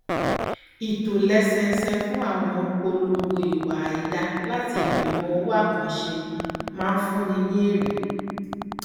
ìtòlẹsẹẹsẹ fún àwọn polongo ìwà àìdáa láti ìgbìmọ òwò àkànṣe máa fúnni ní èrè